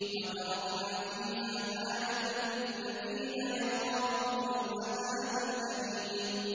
وَتَرَكْنَا فِيهَا آيَةً لِّلَّذِينَ يَخَافُونَ الْعَذَابَ الْأَلِيمَ